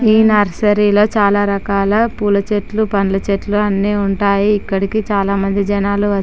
ఈ నర్సరీ లో చాలా రకాల పూల చెట్లు పండ్ల చెట్లు అని ఉంటాయి. ఇక్కడికి చాలా మంది జనాలు వచ్--